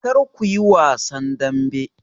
Kar ku yi wasan dambe!